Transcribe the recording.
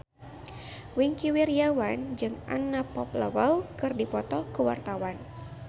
Wingky Wiryawan jeung Anna Popplewell keur dipoto ku wartawan